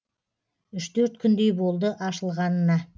үш төрт күндей болды ашылғанына